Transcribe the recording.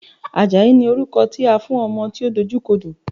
Àjàyí ni orúkọ tí a fún ọmọ tí ó dojú kodò.